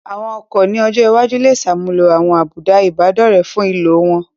Àwọn ọkọ̀ ní ọjọ́ iwájú lè ṣàmúlò àwọn àbùdá Ìbádọ́rẹ̀ẹ́ fún ìlò wọn